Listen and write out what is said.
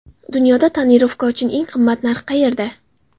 Dunyoda tonirovka uchun eng qimmat narx qayerda?.